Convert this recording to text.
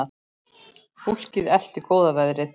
Fólkið elti góða veðrið.